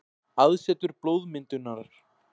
Aðsetur blóðmyndunar.